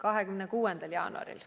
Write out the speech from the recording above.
26. jaanuaril.